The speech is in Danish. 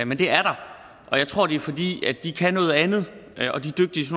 men det er der og jeg tror det er fordi de kan noget andet